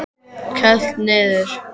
Kælt niður.